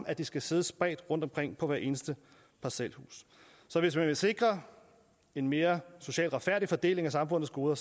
at de skal sidde spredt rundtomkring på hvert eneste parcelhus så hvis man vil sikre en mere social retfærdig fordeling af samfundets goder